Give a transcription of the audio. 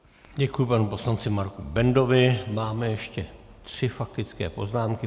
Děkuji panu poslanci Marku Bendovi, máme ještě tři faktické poznámky.